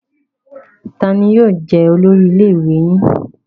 Taani yóò jẹ olórí ilé ìwé yín?